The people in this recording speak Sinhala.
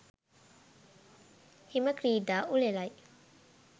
හිම ක්‍රීඩා උළෙලයි.